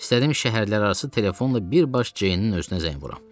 İstədim şəhərlərarası telefonla birbaş Ceynin özünə zəng vuram.